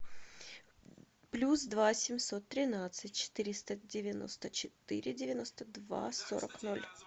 плюс два семьсот тринадцать четыреста девяносто четыре девяносто два сорок ноль